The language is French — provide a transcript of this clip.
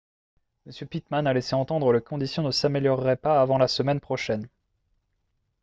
m pittman a laissé entendre que les conditions ne s'amélioreraient pas avant la semaine prochaine